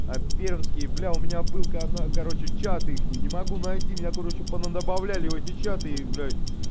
пермские был у меня был короче чат их не могу найти меня короче добавляли в эти чаты блядь